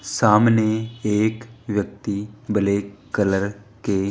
सामने एक व्यक्ति ब्लैक कलर के--